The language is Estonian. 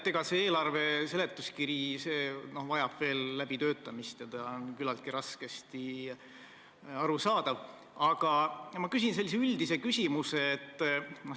Eelarve seletuskiri vajab veel läbitöötamist, ta on küllaltki raskesti arusaadav, aga ma küsin üldise küsimuse.